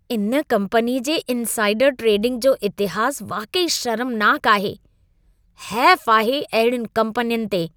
इन कम्पनीअ जे इनसाइडर ट्रेडिंग जो इतिहास वाक़ई शर्मनाक आहे। हैफ़ आहे अहिड़ियुनि कम्पनियुनि ते!